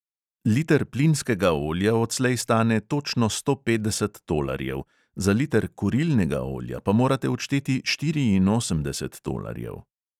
Liter plinskega olja odslej stane točno sto petdeset tolarjev, za liter kurilnega olja pa morate odšteti štiriinosemdeset tolarjev.